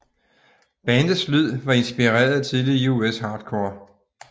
Bandets lyd var inspireret af tidlig US hardcore